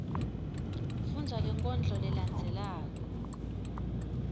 fundza lenkondlo lelandzelako